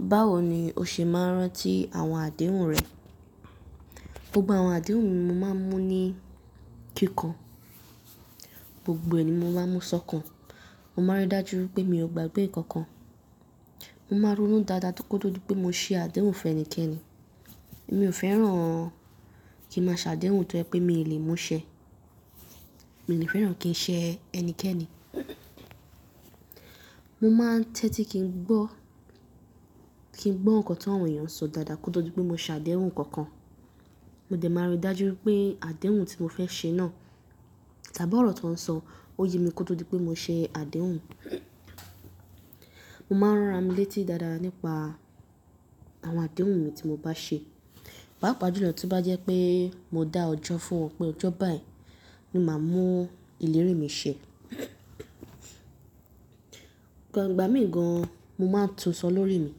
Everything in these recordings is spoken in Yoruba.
Báwo ni o ṣe máa ń rántí àwọn àdéhùn rẹ? Gbogbo àwọn àdéhùn mi, mo máa ń mú ní kíkàn. Gbogbo ẹ ni mo máa mú sọ́kàn. Mo máa rí dájú pé mi ò gbàgbé nǹkan kan. Mo máa rúnú dáadáa kó tó di pé mo ṣe àdéhùn fún ẹnikéni. Èmi ò fẹ́ràn kí ń máa ṣàdéhùn tó jẹ́ pé mi lè mú ṣẹ. Mi dé fẹ́ràn kí ń ṣe ẹnikéni. Mo máa ń tẹ́tí kí ń gbọ́, kí ń gbọ́ nǹkan tí àwọn èèyàn sọ dáadáa kó tó di pé mo ṣàdéhùn nǹkan kan. Mo dẹ̀ máa rí dájú pé àdéhùn tí mo fẹ́ ṣe náà, tàbí ọ̀rọ̀ tó ń sọ, ó ye mi kó tó di pé mo ṣe àdéhùn. Mo máa ń rọra mi létí dáadáa nípa àwọn àdéhùn mi tí mo bá ṣe. Pápa pẹlú ní ọjọ́ náà tó bá jẹ́ pé mo dá ọjọ́ fún ọ pé ọjọ́ báyìí ni màá mú ìlérí mi ṣẹ. Ìgbà mìígàn mo máa ń tun sọ lórí mi.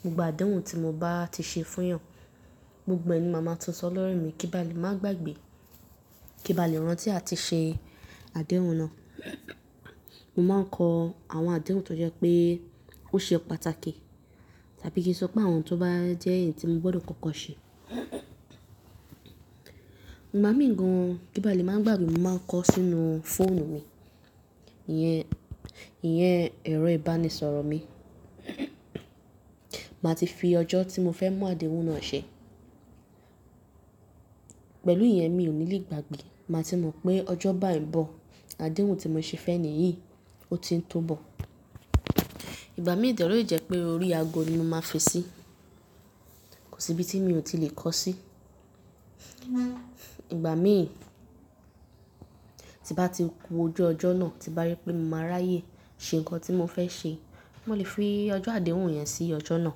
Gbogbo àdéhùn tí mo bá ti ṣe fún èèyàn, gbogbo ẹni mo máa tun sọ lórí mi kí bàálé máa gbàgbé, kí bàálé rántí a ti ṣe àdéhùn náà. Mo máa ń kọ àwọn àdéhùn tó jẹ́ pé ó ṣe pàtàkì tàbí kí n sọ pé àwọn tó bá jẹ́ èyí tí mo gbọdọ̀ kankan ṣe. Igba máa mìíràn kí bàálé máa gbàgbé, mo máa ń kọ sínú fóònù mi. Iyẹn, iyẹn ẹ̀rọ ìbánisọ̀rọ̀ mi. Màá ti fi ọjọ́ tí mo fẹ́ mú àdéhùn náà ṣe. Pẹ̀lú ìyẹn mi ò níle gbàgbé. Màá ti mọ̀ pé ọjọ́ báyìí bọ̀, àdéhùn tí mo ṣe fẹ́ni yìí ó ti ń tó bọ̀. Ìgbà mí dẹ rí jẹ́ pé orí aago ni mo máa fi ṣí. Kò sí ibi tí mi ò tí lè kọ sí. Ìgbà mí tí bá ti ku ojú ọjọ́ náà tí bá yé pé mo máa ráyè ṣe nǹkan tí mo fẹ́ ṣe, mo lè fi ọjọ́ àdéhùn yẹn sí ọjọ́ náà.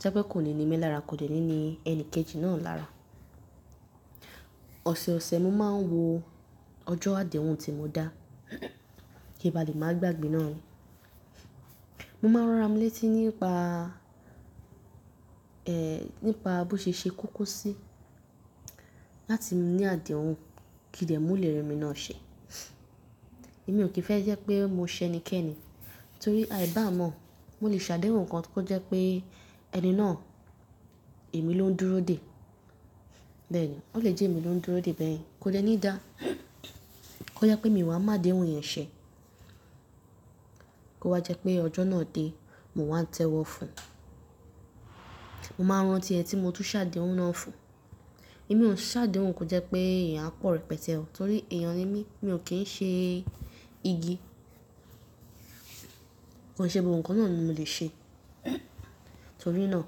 Jẹ́ pé kò ní ni mí lára kò jẹ́ ní ni ẹni kejì náà lára. Ọ̀sẹ̀ẹ̀sẹ̀ mo máa ń wo ọjọ́ àdéhùn tí mo dá kí bàálé máa gbàgbé náà. Mo máa ń ran ara mi létí nípa, ẹ́, nípa bó ṣe ṣe kókó sí láti ní àdéhùn kí dẹ̀ mú ìlérí mi náà ṣe. Èmi ò kì í fẹ́ jẹ́ pé mo ṣe ẹnikẹ́ni torí àìbá mọ̀. Mo lè ṣàdéhùn nǹkan kó jẹ́ pé ẹni náà èmi ló ń dúró dè bẹ́ẹ̀ ni. Ó lè jẹ́ èmi ló ń dúró dè bẹ́ẹ̀ kò jẹ́ ní í dá, kó ye pé mi wà máa mú àdéhùn yẹn ṣẹ. Kó wa jẹ́ pé ọjọ́ náà dé, mo wá ń tẹ́wọ́ fún. Mo máa ń rántí ẹni tí mo tún ṣàdéhùn náà fún. Èmi ò ṣàdéhùn kó jẹ́ pé èèyàn á pọ̀rọ̀ pẹ̀tẹ́ ọ, torí èèyàn ni mí, mi ò kí ń ṣe igi. Kò ṣe gbogbo nǹkan náà ni mo lè ṣe. Nítorí náà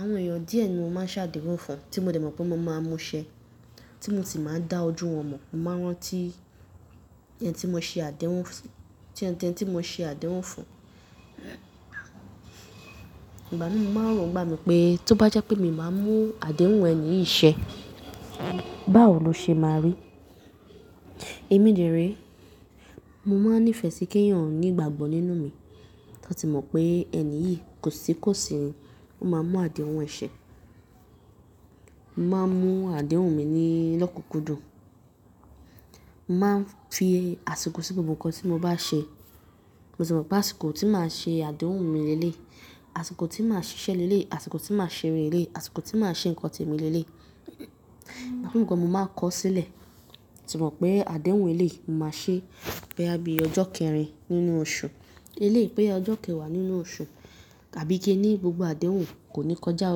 àwọn èèyàn díẹ̀ ni mo máa ń ṣàdéhùn fún tí mo dẹ̀ mọ̀ pé mo máa mú ṣẹ, tí mo sì máa ń dá ojú wọn mọ̀. Mo máa rántí ẹni tí mo ṣe àdéhùn fún, tí ẹni tí mo ṣe àdéhùn fún. Ìgbá mi máa ń rọ̀ ń igbá mi pé tó bá jẹ́ pé mi máa mú àdéhùn ẹni yìí ṣẹ, báwo lo ṣe máa rí? Èmi dẹ̀ ri, mo máa ń nífẹ̀ẹ́ sí kí èèyàn ní ìgbàgbọ́ nínú mi. Wọn ti mọ̀ pé ẹni yìí kò sí kó sì ni, ó máa mú àdéhùn ẹ ṣe. Mo máa ń mú àdéhùn mi ní lọ́kùúkú dùn. Mo máa ń fi àsìkò sí gbogbo nǹkan tí mo bá ṣe. Mo sì mọ̀ pé àsìkò tí màá ṣe àdéhùn mi lé lé, àsìkò tí màá ṣiṣẹ́ lé lé, àsìkò tí màá ṣeré lé lé, àsìkò tí màá ṣe nǹkan tí èmi lé lé. Ìgbá mi nǹkan mo máa ń kọ sílẹ̀. Ti mo mọ̀ pé àdéhùn èyí lè máa ṣe bẹ́ àbí ọjọ́ kẹrin nínú oṣù. Eléyìí pé ọjọ́ kẹwàá nínú oṣù tàbí kí ó ní gbogbo àdéhùn kò ní kọjá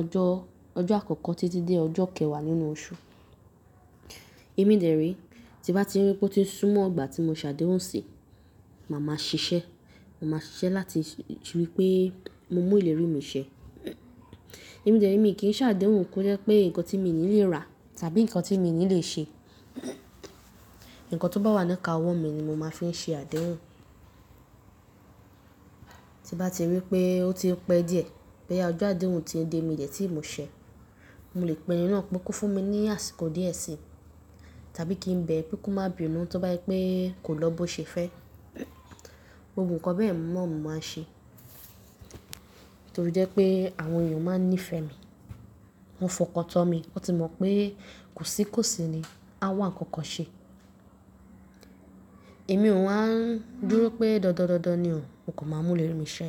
ọjọ́, ọjọ́ àkọ́kọ́ títí dé ọjọ́ kẹwàá nínú oṣù. Èmi dẹ̀ re, tí bá ti rí pé ó ti súnmọ́ ìgbà tí mo ṣàdéhùn sí, màá ma ṣiṣẹ́. Mo máa ṣiṣẹ́ láti rí pé mo mú ìlérí mi ṣẹ. Èmi dẹ̀ re, èmi kì í ṣàdéhùn kó jẹ́ pé nǹkan tí èmi ni lè ra tàbí nǹkan tí èmi ni lè ṣe. Nǹkan tó bá wà lẹ́ka owó mi ni mo máa fi ṣe àdéhùn. Tí bá ti rí pé ó ti pẹ́ díẹ̀ bẹ́ àbí ọjọ́ àdéhùn ti dé mi dẹ̀ tí mo ṣẹ, mo lè pe ẹni náà pé kó fún mi ní àsìkò díẹ̀ sí tàbí kí n bẹ́ ẹ pé kó má bi ìnú tó bá yé pé kò lọ bó ṣe fẹ́. Gbogbo nǹkan bẹ́ẹ̀ mọ̀ mo máa ń ṣe. Nítorí jẹ́ pé àwọn èèyàn máa ń nífẹ̀ẹ́ mi, wọ́n fọkàn tán mi. Wọ́n ti mọ̀ pé kò sí kó sì ni, a wà kankan ṣe. Èmi ò wa ń dúró pé dọ̀dọ̀ dọ̀dọ̀ ni o, mo kò máa mú ìlérí mi ṣẹ.